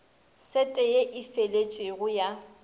sete ye e feletšego ya